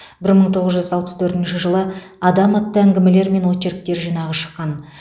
бір мың тоғыз жүз алпыс төртінші жылы адам атты әңгімелер мен очерктер жинағы шыққан